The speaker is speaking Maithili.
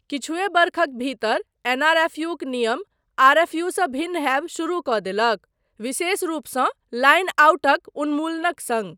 किछुए वर्षक भीतर एनआरएफयूक नियम आरएफयूसँ भिन्न हैब शुरू कऽ देलक विशेष रूपसँ लाइन आउटक उन्मूलनक सङ्ग।